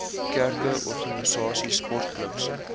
kerke organisasies sportklubs